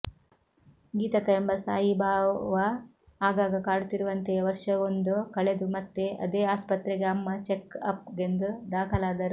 ಗೀತಕ್ಕ ಎಂಬ ಸ್ಥಾಯೀಭಾವ ಆಗಾಗ ಕಾಡುತ್ತಿರುವಂತೆಯೇ ವರ್ಷವೊಂದು ಕಳೆದು ಮತ್ತೆ ಅದೇ ಆಸ್ಪತ್ರೆಗೆ ಅಮ್ಮ ಚೆಕ್ ಅಪ್ ಗೆಂದು ದಾಖಲಾದರು